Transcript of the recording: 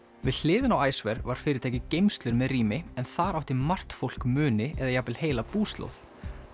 við hliðina á var fyrirtækið geymslur með rými en þar átti margt fólk muni eða jafnvel heila búslóð